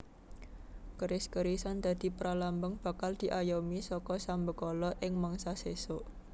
Keris kerisan dadi pralambang bakal diayomi saka sambekala ing mangsa sesuk